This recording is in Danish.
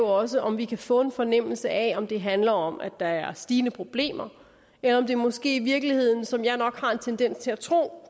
også om vi kan få en fornemmelse af om det handler om at der er stigende problemer eller om det måske i virkeligheden som jeg nok har en tendens til at tro